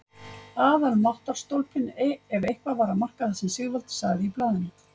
Aðalmáttarstólpinn ef eitthvað var að marka það sem Sigvaldi sagði í blaðinu!